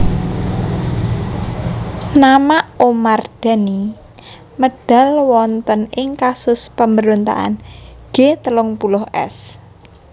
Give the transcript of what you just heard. Nama Omar Dhani medal wonten ing kasus pemberontakan G telung puluh S